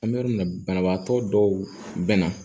An bɛ yɔrɔ min na banabaatɔ dɔw bɛ na